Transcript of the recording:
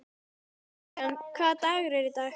Lillian, hvaða dagur er í dag?